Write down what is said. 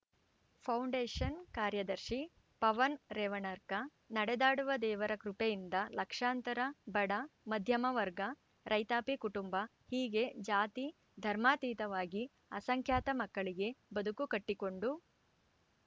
foundation ಕಾರ್ಯದರ್ಶಿ ಪವನ್‌ ರೇವಣನರಕ ನಡೆದಾಡುವ ದೇವರ ಕೃಪೆಯಿಂದ ಲಕ್ಷಾಂತರ ಬಡ ಮಧ್ಯಮ ವರ್ಗ ರೈತಾಪಿ ಕುಟುಂಬ ಹೀಗೆ ಜಾತಿ ಧರ್ಮಾತೀತವಾಗಿ ಅಸಂಖ್ಯಾತ ಮಕ್ಕಳಿಗೆ ಬದುಕು ಕಟ್ಟಿಕೊಂಡು